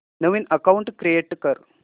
नवीन account create कर